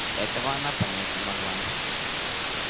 этого она понять не могла